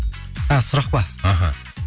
а сұрақ па аха